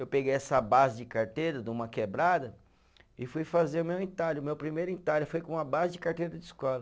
Eu peguei essa base de carteira, de uma quebrada, e fui fazer o meu entalho, o meu primeiro entalho, foi com a base de carteira de escola.